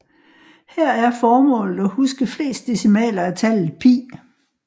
Her er formålet at huske flest decimaler af tallet π